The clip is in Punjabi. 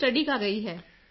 ਦੀ ਸਟੱਡੀ ਕਰ ਰਹੀ ਹੈ